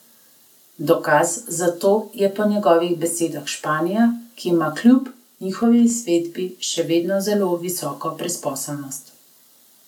Dokaz za to je po njegovih besedah Španija, ki ima kljub njihovi izvedbi še vedno zelo visoko brezposelnost.